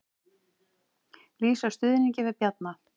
Lýsa stuðningi við Bjarna